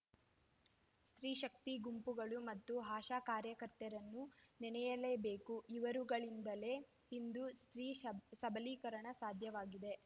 ಸ್ತ್ರೀಶಕ್ತಿ ಗುಂಪುಗಳು ಮತ್ತು ಆಶಾ ಕಾರ್ಯಕರ್ತೆಯರನ್ನು ನೆನಯಲೇಬೇಕು ಇವರುಗಳಿಂದಲೇ ಇಂದು ಸ್ತ್ರೀ ಸಬಲೀಕರಣ ಸಾಧ್ಯವಾಗಿದೆ